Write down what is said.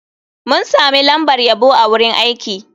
Mun sami lambar yabo a wurin aiki.